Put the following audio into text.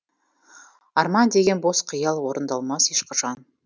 арман деген бос қиял орындалмас ешқашан